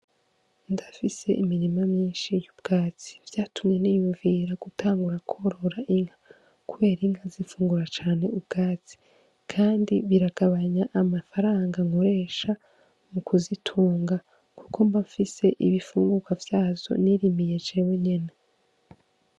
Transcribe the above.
Ndafise imirima myinshi y'ubwatsi . Vyatumye niyumvira gutangura kworora inka , kuber'inka zifungura cane ubwatsi kandi biragabanya amafaranga nkoresha mu kuzitunga kuko mba mfise ibifungurwa vyavyo nirimiye jewe nyene .